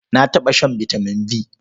Na taɓa shan vitamin B.